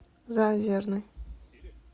заозерный